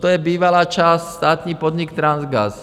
To je bývalá část státní podnik Transgas.